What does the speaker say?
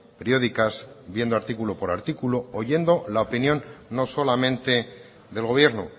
periódicas viendo artículo por artículo oyendo la opinión no solamente del gobierno